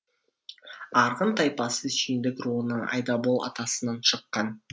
арғын тайпасы сүйіндік руының айдабол атасынан шыққан